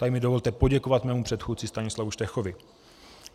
Tady mi dovolte poděkovat mému předchůdci Stanislavu Štechovi.